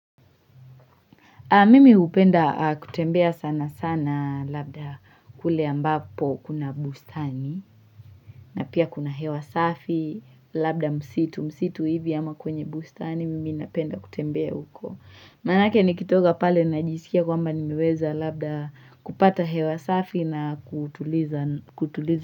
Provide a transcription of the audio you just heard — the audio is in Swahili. Mimi upenda kutembea sana sana labda kule ambapo kuna bustani na pia kuna hewa safi labda msitu msitu hivi ama kwenye bustani mimi napenda kutembea huko. Manake nikitoka pale najisikia kwamba nimeweza labda kupata hewa safi na kutuliza kutuliza.